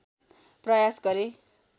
प्रयास गरे